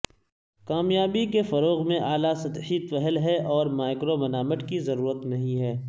کامیابی کے فروغ میں اعلی سطحی پہل ہے اور مائکرمنامنٹ کی ضرورت نہیں ہے